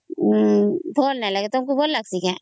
ଭଲ ନାଇଁ ଲାଗେ ତମକୁ ଭଲ ଲାଗୁଚି କେ